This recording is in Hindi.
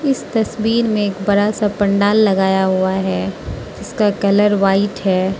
इस तस्वीर में एक बड़ा सा पंडाल लगाया हुआ है जिसका कलर व्हाइट है।